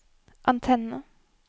antenne